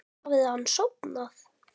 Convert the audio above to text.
Hafði hann sofnað?